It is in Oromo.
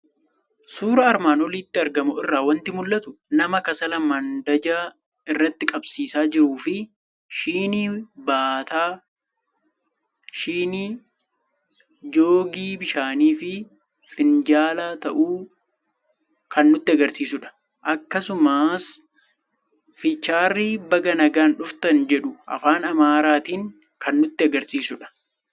Suuraa armaan olitti argamu irraa waanti mul'atu; nama kassala mandajaa irratti qabsiisa jiruufi Shinii, Baataa Shinii, joogii bishaanifi Finjaalaa ta'uu kan nutti agarsiisudha. Akkasumas fiicharii baga nagaan dhuftan jedhu afaan amaaratin kan nutti agarsiisudha.